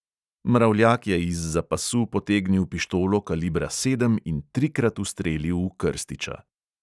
Mravljak je izza pasu potegnil pištolo kalibra sedem in trikrat ustrelil v krstiča.